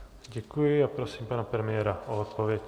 Děkuji a prosím pana premiéra o odpověď.